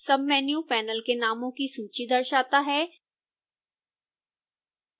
submenu panel के नामों की सूची दर्शाता है